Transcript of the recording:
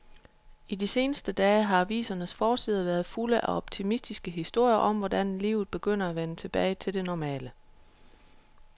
I de seneste dage har avisernes forsider været fulde af optimistiske historier om, hvordan livet begynder at vende tilbage til det normale.